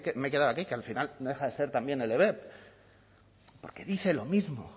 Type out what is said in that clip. me he quedado aquí que al final no deja de ser también el porque dice lo mismo